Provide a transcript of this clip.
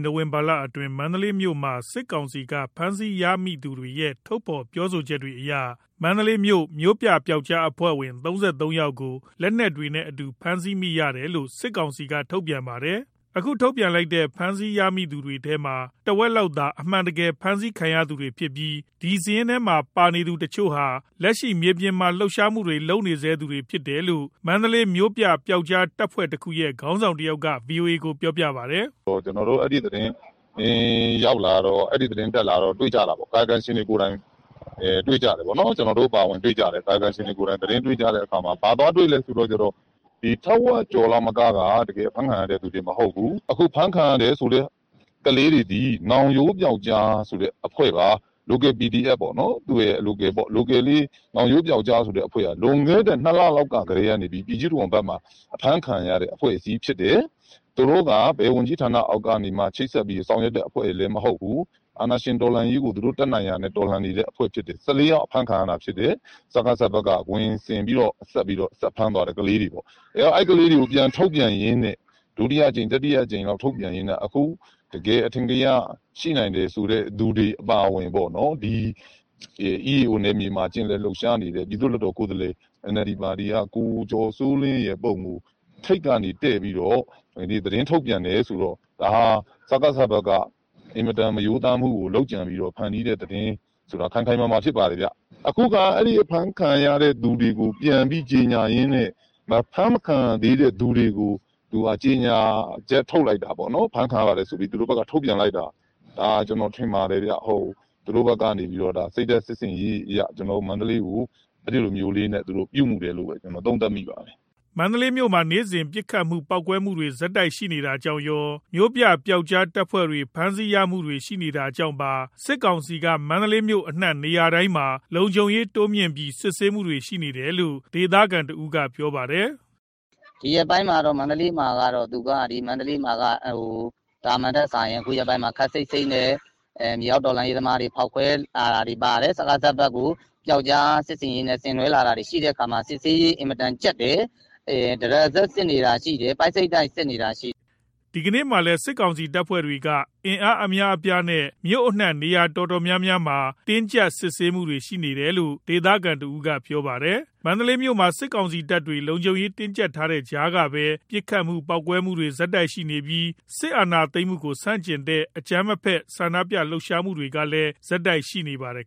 နိုဝင်ဘာလအတွင်း မန္တလေးမြို့မှာ စစ်ကောင်စီက ဖမ်းဆီးရမိသူတွေရဲ့ ထုတ်ဖော်ပြောပြချက်တွေအရ မန္တလေးမြို့ မြို့ပြပျောက်ကြားအဖွဲ့ဝင် ၃၃ ယောက်ကို လက်နက်တွေနဲ့အတူ ဖမ်းဆီးရမိတယ်လို့ စစ်ကောင်စီက ထုတ်ပြန်ပါတယ်။ ခု ထုတ်ပြန်ထားတဲ့ ဖမ်းဆီးရမိသူတွေထဲမှာ တစ်ဝက်လောက်သာ အမှန်တကယ် ဖမ်းဆီးခံရသူဖြစ်ပြီး ဒီစာရင်းထဲမှာ ပါနေသူတစ်ချို့ဟာ လက်ရှိ မြေပြင်မှာ လှုပ်ရှားမှုတွေလုပ်နေဆဲ သူတွေ ဖြစ်တယ်လို့ မန္တလေးမြို့ပြ ပျောက်ကြားတပ်ဖွဲ့တစ်ခုရဲ့ ခေါင်းဆောင်တစ်ဦးက VOA ကို ပြောပါတယ်။ “ကျွန်တော်တို့က အဲ့ဒီသတင်း တက်လာတော့ တွေ့ကြတယ်၊ ကာယကံရှင်တွေကိုယ်တိုင်တွေ့ ကြတယ်။ ကာယကံရှင်တွေကိုယ်တိုင် သတင်းတွေ့ကြတဲ့အခါ ဘာသွားတွေ့လဲဆိုတော့ ထက်ဝက်ကျော်လောက်က တကယ် အဖမ်းခံရတဲ့သူတွေ မဟုတ်ဘူး။ အခု ဖမ်းခံရတယ်ဆိုတဲ့ ကလေးတွေသည် နောင်ရိုး ပျောက်ကြားဆိုတဲ့ အဖွဲ့ပါ။ Local အဖွဲ့တစ်ဖွဲ့ပါ။ ဒီနောင်ရိုးပျောက်ကြားဆိုတဲ့အဖွဲ့ဟာ လွန်ခဲ့တဲ့ ၂ လလောက်ကတည်းက ပြည်ကြီးတံခွန်ဖက်မှာ အဖမ်းခံရတဲ့ အဖွဲ့အစည်းဖြစ်တယ်။ သူတို့က ဘယ်ဝန်ကြီးဌာန အောက်ကနေမှ ချိတ်ဆက်ပြီး ဆောင်ရွက်တဲ့ အဖွဲ့တွေလဲ မဟုတ်ဘူး။ အာဏာရှင်တော်လှန်ရေးကို သူတို့ တတ်နိုင်ရာနဲ့ တော်လှန်နေတဲ့ အဖွဲ့ဖြစ်တယ်။ ၁၄ ယောက်အဖမ်းခံရတာဖြစ်တယ်။ စကစက ခွင်ဆင်ပြီးတော့ ဖမ်းခံရတဲ့ကလေးတွေပေ့ါ။ အဲ့ဒီကလေးတွေကို ဒုတိယအကြိမ်၊ တတိယအကြိမ် ထုတ်ပြန်ရင်းနဲ့ အခု တကယ် အထင်ကရ ရှိနိုင်တယ်ဆိုတဲ့ သူတွေအပါအဝင် ဒီ EAO နယ်မြေမှာ ကျင်လည်လှုပ်ရှားနေတဲ့ ပြည်သူလွတ်တော်ကိုယ်စားလှယ် NLD ပါတီက ကိုကျော်စောလင်းရဲ့ ပုံကို ထိပ်ကနေ တည်ပြီးတော့ သတင်းထုတ်ပြန်တယ်။ ဆိုတော့ ဒါက စကစ ဖက်က အင်မတန်မရိုးသားတဲ့ လုပ်ကြံဖန်တီးတဲ့ သတင်း ဖြစ်တယ်။ အခု သူတို့က ဖမ်းခံရတဲ့သူတွေကို ကြေညာရင်းန့ အဖမ်းမခံရသေးတဲ့သူတွေကို ဖမ်းခံရပါတယ်ဆိုပြီး ကြေညာချက်ထုတ်လိုက်တာပေါ့။ ဒါကို ကျွန်တော်ထင်ပါတယ်၊ စိတ်ဓာတ်စစ် ဆင်ရေးအရ ကျွန်တော်တို့ မန္တလေးကို အဲ့ဒီလို ပြုမူတယ်လို့ သုံးသပ်မိပါတယ်။” မန္တလေးမြို့မှာ နေ့စဉ် ပစ်ခတ်မှု ပေါက်ကွဲမှုတွေ ဆက်တိုက်ရှိနေတာကြောင့်ရော၊ မြို့ပြ ပျောက်ကြားတပ်ဖွဲ့တွေဖမ်းဆီးရမိမှုတွေ ရှိနေတာကြောင့်ပါ စစ်ကောင်စီက မန္တလေး မြို့အနှံ့ နေရာတိုင်းမှာ လုံခြုံရေးတိုးမြင့်ပြီး စစ်ဆေးမှုတွေ ရှိနေတယ်လို့ ဒေသခံတစ်ဦးက ပြောပါတယ်။ သာမန်ထက်စာရင် ခုရက်ပိုင်းမှာ ခပ်စိတ်စိတ်နဲ့ မြေအောက်တော်လှန်ရေးသမားတွေရဲ့ ဖောက်ခွဲမှုတွေ၊ စကစဖက်ကို ပျောက်ကြားစစ်ဆင်ရေးနဲ့ လုပ်လာတာတွေရှိတဲ့အခါ စစ်ဆေးရေးက အင်မတန်ကြပ်တယ်။ တရစပ်စစ်နေတာရှိတယ် ပိုက်စိတ်တိုက်စစ်နေတာရှိတယ်။” ဒီကနေ့မှာလည်း စစ်ကောင်စီတပ်တွေက အင်အားအများအပြားနဲ့ မြို့အနှံ့နေရာအတော်များများမှာ တင်းကြပ်စစ်ဆေးတာတွေ ရှိခဲ့တယ်လို့ ဒေသခံတစ်ဦးက ပြောပြပါတယ်။ မန္တလေးမြို့မှာ စစ်ကောင်စီတပ်တွေ လုံခြုံရေးတင်းကြပ်ထားတဲ့ ကြားကပဲ ပစ်ခတ်မှု ပေါက်ကွဲမှုတွေ ဆက်ရှိပြီး စစ်အာဏာသိမ်းမှုကို ဆန့်ကျင်တဲ့ အကြမ်းမဖက် ဆန္ဒပြ လှုပ်ရှားမှုတွေကလဲ ဆက်ရှိနေပါတယ်